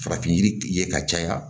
Farafin yiri ye ka caya